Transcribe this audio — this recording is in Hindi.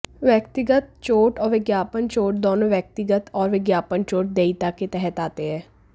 व्यक्तिगत चोट और विज्ञापन चोट दोनों व्यक्तिगत और विज्ञापन चोट देयता के तहत आते हैं